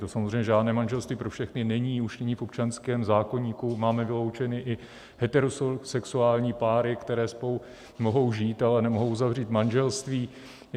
To samozřejmě žádné manželství pro všechny není, už není v občanském zákoníku, máme vyloučeny i heterosexuální páry, které spolu mohou žít, ale nemohou uzavřít manželství.